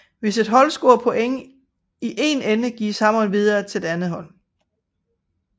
Hvis et hold scorer point i en ende gives hammeren videre til det andet hold